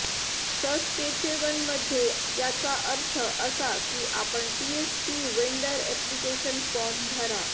सस्केचेवनमध्ये याचा अर्थ असा की आपण पीएसटी व्हेंडर ऍप्लिकेशन फॉर्म भरा